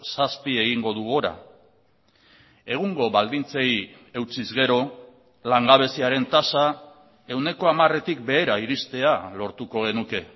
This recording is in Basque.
zazpi egingo du gora egungo baldintzei eutsiz gero langabeziaren tasa ehuneko hamaretik behera iristea lortuko genuke